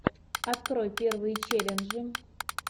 открой первые челленджи